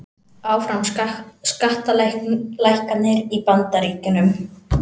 Áfram skattalækkanir í Bandaríkjunum